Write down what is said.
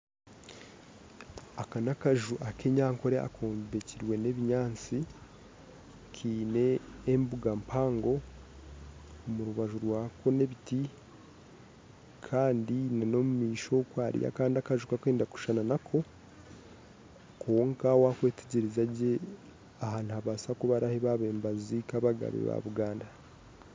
Aka n'akaju ak'ekinyankore akombekirwe n'ebinyaatsi kaine embuga mpango omu rubaju rwako n'ebiti kandi n'omumaisho okwe hariyo akandi akaju akarikwenda kushushana nako kwonka waayetegyereza gye aha nihabaasa kuba niho babaire nibaziika abagabe ba Buganda